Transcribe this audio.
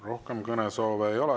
Rohkem kõnesoove ei ole.